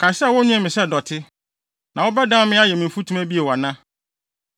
Kae sɛ wonwen me sɛ dɔte. Na wobɛdan me ayɛ me mfutuma bio ana?